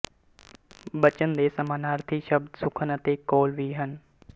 ਬਚਨ ਦੇ ਸਮਾਨਾਰਥੀ ਸ਼ਬਦ ਸੁਖਨ ਅਤੇ ਕੌਲ ਵੀ ਹਨ